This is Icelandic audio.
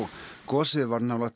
gosið var nálægt